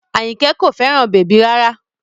Àyìnkẹ́ kò fẹ́ràn bèbí rárá